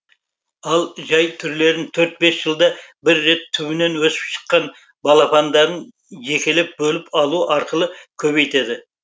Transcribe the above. ал жай түрлерін төрт бес жылда бір рет түбінен өсіп шыққан балапандарын жекелеп бөліп алу арқылы көбейтеді